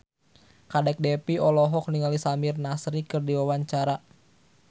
Kadek Devi olohok ningali Samir Nasri keur diwawancara